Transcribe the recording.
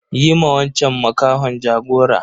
Yi ma wanchan makahon jagora.